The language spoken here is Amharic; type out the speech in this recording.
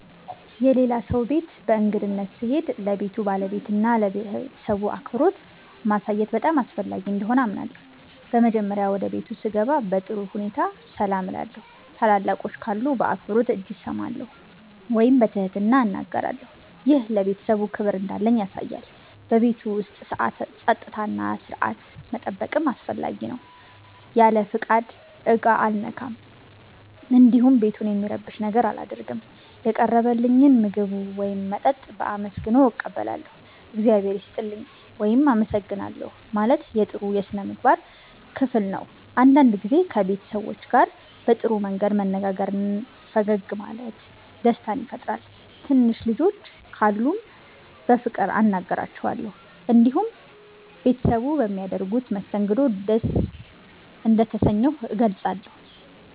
የሌላ ሰው ቤት በእንግድነት ስሄድ ለቤቱ ባለቤትና ለቤተሰቡ አክብሮት ማሳየት በጣም አስፈላጊ እንደሆነ አምናለሁ። በመጀመሪያ ወደ ቤቱ ስገባ በጥሩ ሁኔታ ሰላም እላለሁ። ታላላቆች ካሉ በአክብሮት እጅ እሰማለሁ ወይም በትህትና እናገራለሁ። ይህ ለቤተሰቡ ክብር እንዳለኝ ያሳያል። በቤቱ ውስጥ ጸጥታና ሥርዓት መጠበቅም አስፈላጊ ነው። ያለ ፍቃድ ዕቃ አልነካም፣ እንዲሁም ቤቱን የሚረብሽ ነገር አላደርግም። የቀረበልኝን ምግብ ወይም መጠጥ በአመስግኖ እቀበላለሁ። “እግዚአብሔር ይስጥልኝ” ወይም “አመሰግናለሁ” ማለት የጥሩ ሥነ ምግባር ክፍል ነው። አንዳንድ ጊዜ ከቤት ሰዎች ጋር በጥሩ መንገድ መነጋገርና ፈገግ ማለት ደስታ ይፈጥራል። ትንሽ ልጆች ካሉም በፍቅር አናግራቸዋለሁ። እንዲሁም ቤተሰቡ በሚያደርጉት መስተንግዶ ደስ እንደተሰኘሁ እገልጻለሁ።